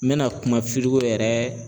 N bɛna kuma yɛrɛ